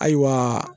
Ayiwa